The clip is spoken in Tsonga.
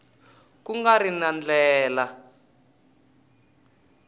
ku nga ri na ndlela